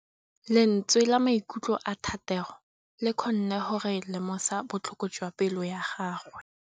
Lentswe la maikutlo a Thategô le kgonne gore re lemosa botlhoko jwa pelô ya gagwe.